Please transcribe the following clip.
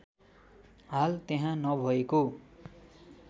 हाल त्यहाँ नभएको